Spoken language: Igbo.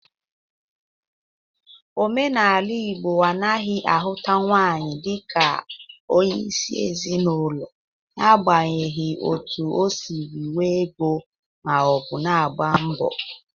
Omenala Igbo anaghị ahụta nwaanyị dịka onyeisi ezinaụlọ nagbanyeghi oto o siri nwee ego ma ọ bụ na-agba mbọ.